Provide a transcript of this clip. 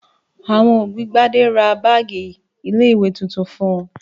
Àwọn òbí Gbadé ra báágì ilé-ìwé tuntun fún un.